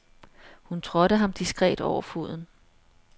Hun trådte ham diskret over foden.